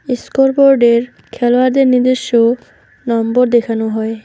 এস্কোরবোর্ডের খেলোয়াড়দের নিজস্ব নম্বর দেখানো হয়।